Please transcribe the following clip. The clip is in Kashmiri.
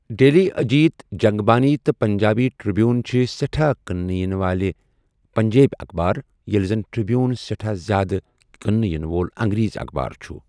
ڈیلی اجیت ، جگ بانی تہٕ پنجابی ٹر٘بیوُن چھِ سہٹھاہ كٕننہٕ ینہٕ وٲلہِ پجبیبہِ اخبار یلہِ زن ٹرِ٘بیوُن سہٹھاہ زیادٕ كننہٕ ینہٕ وول انگریزی اخبار چھٗ ۔